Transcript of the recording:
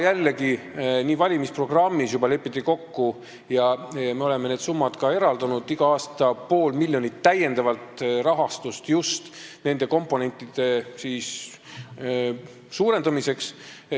Jällegi, juba valimisprogrammis lepiti nii kokku ja me oleme need summad ka eraldanud, igal aastal pool miljonit lisarahastust just nende komponentide suurendamiseks.